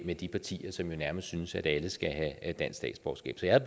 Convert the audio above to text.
med de partier som jo nærmest synes at alle skal have dansk statsborgerskab så jeg